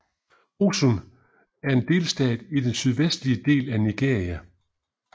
Osun er en delstat i den sydvestlige del af Nigeria